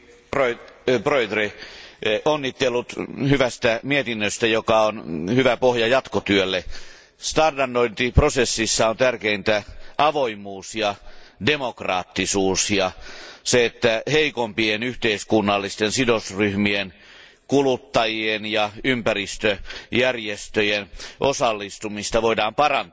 Arvoisa puhemies, onnittelut hyvästä mietinnöstä, joka on hyvä pohja jatkotyölle. Standardointiprosessissa on tärkeintä avoimuus ja demokraattisuus ja heikompien yhteiskunnallisten sidosryhmien, kuluttajien ja ympäristöjärjestöjen osallistumisen parantaminen.